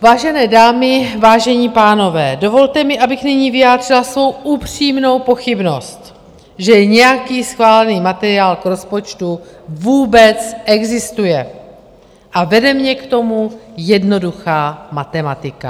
Vážené dámy, vážení pánové, dovolte mi, abych nyní vyjádřila svou upřímnou pochybnost, že nějaký schválený materiál k rozpočtu vůbec existuje, a vede mě k tomu jednoduchá matematika.